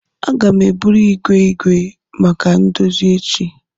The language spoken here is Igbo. Aga m eburu igwe igwe maka ndozi echi.